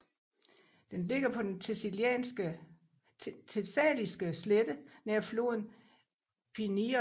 Den ligger på den Thessaliske slette nær floden Pineios